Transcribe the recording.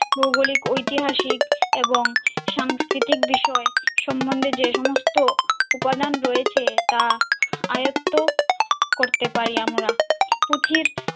ভৌগোলিক ঐতিহাসিক এবং সাংস্কৃতিক বিষয় সম্বন্ধে যে সমস্ত উপাদান রয়েছে তা আয়তো করতে পারি আমরা, পুঁথির